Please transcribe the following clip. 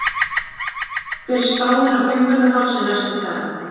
hver er spáin á fimmvörðuhálsi næstu daga